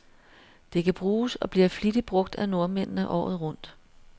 Det kan bruges, og bliver flittigt brug af nordmændene, året rundt.